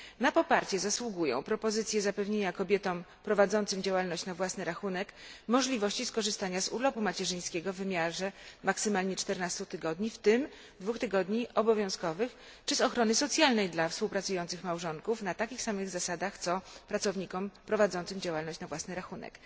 Na poparcie zasługują propozycje zapewnienia kobietom prowadzącym działalność na własny rachunek możliwości skorzystania z urlopu macierzyńskiego w wymiarze maksymalnie 14 tygodni, w tym dwóch tygodni obowiązkowych, czy z zabezpieczenia społecznego dla współpracujących małżonków na takich samych zasadach co pracownicy prowadzący działalność na własny rachunek.